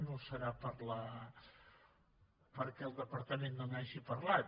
no deu ser perquè el departament no n’hagi parlat